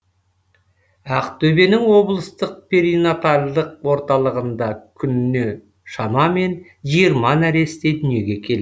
ақтөбенің облыстық перинатальдық орталығында күніне шамамен жиырма нәресте дүниеге келеді